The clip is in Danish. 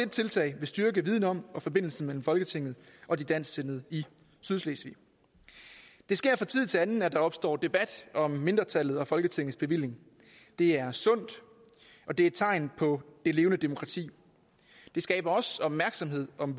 tiltag vil styrke en viden om og forbindelsen mellem folketinget og de dansksindede i sydslesvig det sker fra tid til anden at der opstår debat om mindretallet og folketingets bevilling det er sundt og det er et tegn på det levende demokrati det skaber også opmærksomhed om